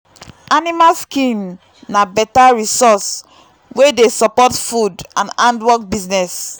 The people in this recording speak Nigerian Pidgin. animal skin na better resource wey dey support food and handwork business.